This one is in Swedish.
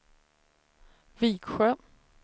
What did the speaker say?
Viksjö